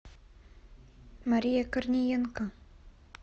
мария корниенко